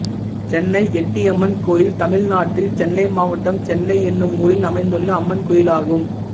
சென்னை எட்டியம்மன் கோயில் தமிழ்நாட்டில் சென்னை மாவட்டம் சென்னை என்னும் ஊரில் அமைந்துள்ள அம்மன் கோயிலாகும்